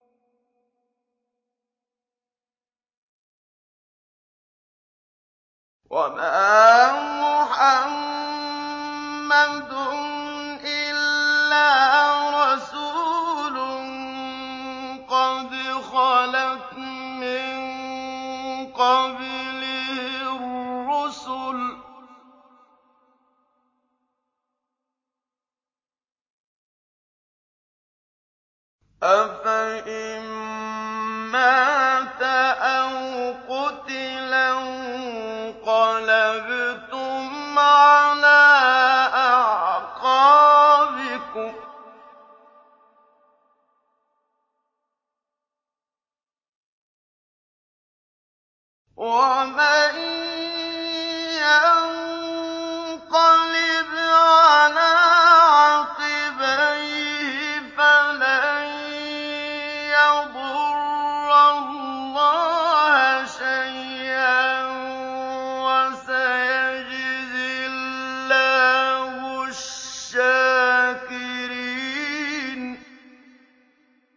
وَمَا مُحَمَّدٌ إِلَّا رَسُولٌ قَدْ خَلَتْ مِن قَبْلِهِ الرُّسُلُ ۚ أَفَإِن مَّاتَ أَوْ قُتِلَ انقَلَبْتُمْ عَلَىٰ أَعْقَابِكُمْ ۚ وَمَن يَنقَلِبْ عَلَىٰ عَقِبَيْهِ فَلَن يَضُرَّ اللَّهَ شَيْئًا ۗ وَسَيَجْزِي اللَّهُ الشَّاكِرِينَ